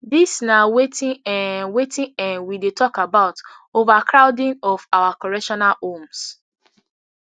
dis na wetin um wetin um we dey tok about overcrowding of our correctional homes